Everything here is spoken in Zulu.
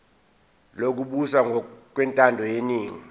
lokubusa ngokwentando yeningi